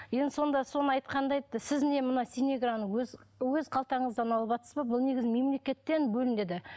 енді сонда соны айтқанда айтты сіз не мынау синеграны өз өз қалтаңыздан алыватсыз ба бұл негізінде мемлекеттен бөлінеді